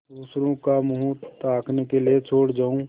दूसरों का मुँह ताकने के लिए छोड़ जाऊँ